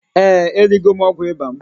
Eeǃ Erigo m ọgwụ ịba m.